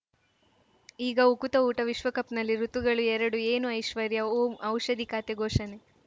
ಈಗ ಉಕುತ ಊಟ ವಿಶ್ವಕಪ್‌ನಲ್ಲಿ ಋತುಗಳು ಎರಡು ಏನು ಐಶ್ವರ್ಯಾ ಓಂ ಔಷಧಿ ಖಾತೆ ಘೋಷಣೆ